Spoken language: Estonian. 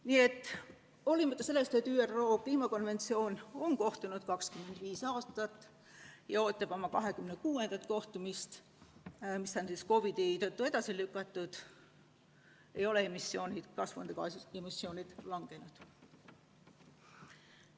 Nii et hoolimata sellest, et ÜRO kliimamuutuste raamkonventsioon on kehtinud 25 aastat ja ootab oma 26. kohtumist, mis on COVID-i tõttu edasi lükatud, ei ole kasvuhoonegaaside emissioonid vähenenud.